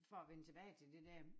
For at vende tilbage til det dér